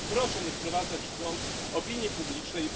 Proszę nie wprowadzać w błąd opinii publicznej.